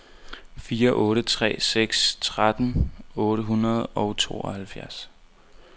fire otte tre seks tretten otte hundrede og tooghalvtreds